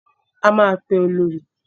A máa pe Olorì.